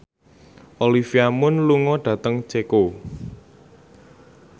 Olivia Munn lunga dhateng Ceko